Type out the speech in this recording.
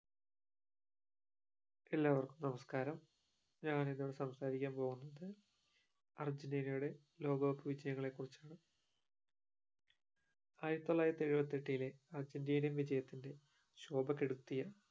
എല്ലാവർക്കും നമസ്കാരം ഞാൻ ഇവിടെ സംസാരിക്കാൻ പോകുന്നത് അർജന്റീനിയുടെ ലോക കപ്പ് വിജയങ്ങൾ കുറിച്ചാണ് ആയിരത്തിത്തൊള്ളായിരത്തി എഴവത്തിട്ടിലെ അർജന്റീനിയൻ വിജയത്തിന്റെ ശോഭ കെടുത്തിയ